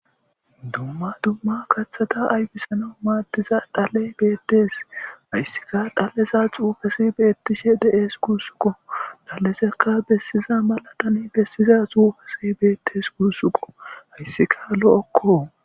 dumma dumma kaththata aybisana maaddiza dhaley beettes hayssika dhalleza xuufesi beettishe de7es gursuqo dhallesekka bessiza malatan bessiza suufesi beettes gursuqo hayssika lo7okko